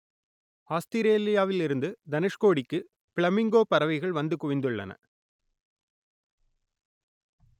ஆஸ்திரேலியாவில் இருந்து தனுஷ்கோடிக்கு பிளமிங்கோ பறவைகள் வந்து குவிந்துள்ளன